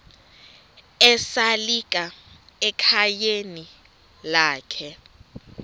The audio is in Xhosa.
esalika ekhayeni lakhe